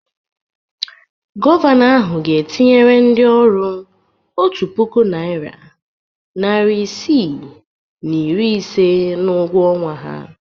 Gọvanọ ahụ ga-etinyere ndị ọrụ otu puku naịra, narị isii na iri ise n'ụgwọ ọnwa ha.